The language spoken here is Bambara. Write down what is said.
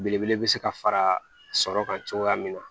Belebele bɛ se ka fara sɔrɔ kan cogoya min na